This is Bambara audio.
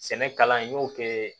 Sɛnɛ kalan in n y'o kɛ